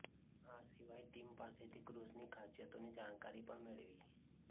આ સિવાય ટીમ પાસેથી ક્રૂઝની ખાસિયતોની જાણકારી પણ મેળવી